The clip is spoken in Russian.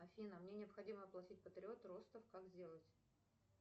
афина мне необходимо оплатить патриот ростов как сделать